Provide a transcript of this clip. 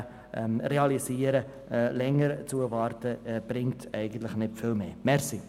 Länger zu warten, bringt nicht viel mehr.